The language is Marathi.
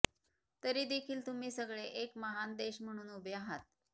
तरीदेखील तुम्ही सगळे एक महान देश म्हणून उभे आहात